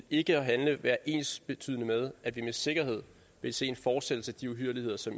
ikke at handle være ensbetydende med at vi med sikkerhed vil se en fortsættelse af de uhyrligheder som